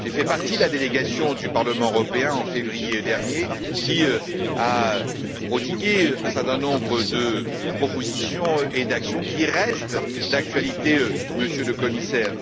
J'ai fait partie de la délégation du Parlement européen en février dernier, qui a prodigué un certain nombre de propositions et d'actions qui restent d'actualité, Monsieur le Commissaire.